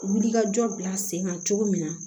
Wulikajɔ bila sen kan cogo min na